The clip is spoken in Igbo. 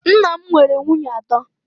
Nna m nwere nwunye atọ